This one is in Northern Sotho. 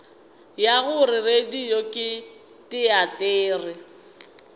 ya gore radio ke teatere